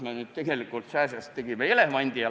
Me tegelikult tegime sääsest elevandi.